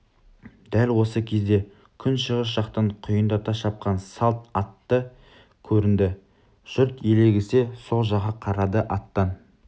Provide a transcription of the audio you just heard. дәл осы кезде күншығыс жақтан құйындата шапқан салт атты көрінді жұрт елегізе со жаққа қарады аттан